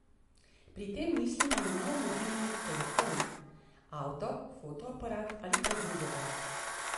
Pri tem mislimo na nov mobilni telefon, avto, fotoaparat ali kaj drugega.